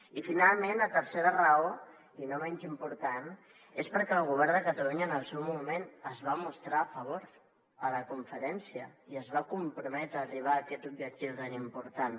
i finalment la tercera raó i no menys important és perquè el govern de catalunya en el seu moment s’hi va mostrar a favor a la conferència i es va comprometre a arribar a aquest objectiu tan important